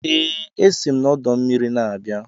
Ee, esi m n'ọdọ mmiri na-abịa